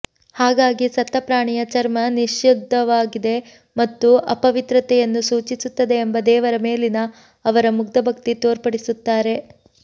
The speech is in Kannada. ಹಾಗಾಗಿ ಸತ್ತ ಪ್ರಾಣಿಯ ಚರ್ಮ ನಿಷಿದ್ಧವಾಗಿದೆ ಮತ್ತು ಅಪವಿತ್ರತೆಯನ್ನು ಸೂಚಿಸುತ್ತದೆ ಎಂಬ ದೇವರ ಮೇಲಿನ ಅವರ ಮುಗ್ಧ ಭಕ್ತಿ ತೋರ್ಪಡಿಸುತ್ತಾರೆ